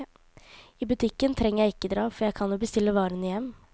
I butikken trenger jeg ikke dra, for jeg kan jo bestille varene hjem.